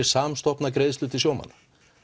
samstofna greiðslu til sjómanna